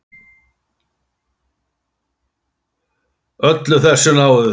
Öllu þessu náðu þeir.